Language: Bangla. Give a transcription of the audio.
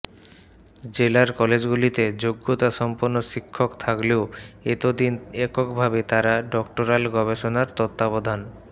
জেলার কলেজগুলিতে যোগ্যতা সম্পন্ন শিক্ষক থাকলেও এত দিন একক ভাবে তাঁরা ডক্টরাল গবেষণার তত্বাবধান